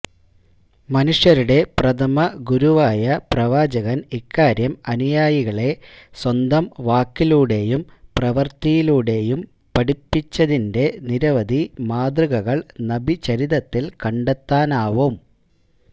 മനുഷ്യരുടെ പ്രഥമഗുരുവായ പ്രവാചകന് ഇക്കാര്യം അനുയായികളെ സ്വന്തം വാക്കിലൂടെയും പ്രവൃത്തിയിലൂടെയും പഠിപ്പിച്ചതിന്റെ നിരവധി മാതൃകകള് നബിചരിതത്തില് കണ്ടെത്താനാവും